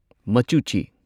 ꯃꯆꯨꯆꯤ